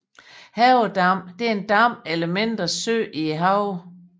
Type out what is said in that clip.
Havedam er en dam eller mindre sø i haven